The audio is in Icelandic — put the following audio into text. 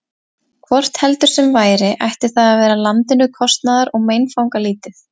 Hvort heldur sem væri, ætti það að vera landinu kostnaðar- og meinfangalítið.